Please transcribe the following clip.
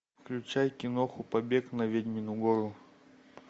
включай киноху побег на ведьмину гору